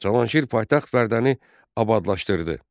Cavanşir paytaxt Vərdəni abadlaşdırdı.